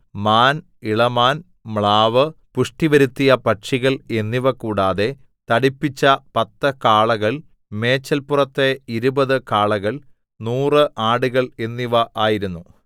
മാൻ ഇളമാൻ മ്ലാവ് പുഷ്ടിവരുത്തിയ പക്ഷികൾ എന്നിവ കൂടാതെ തടിപ്പിച്ച പത്ത് കാളകൾ മേച്ചൽപുറത്തെ ഇരുപത് കാളകൾ നൂറ് ആടുകൾ എന്നിവ ആയിരുന്നു